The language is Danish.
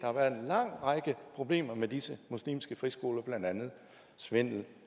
har været en lang række problemer med disse muslimske friskoler blandt andet svindel